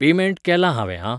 Payment केला हांवें आं.